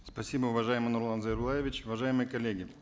спасибо уважаемый нурлан зайроллаевич уважаемые коллеги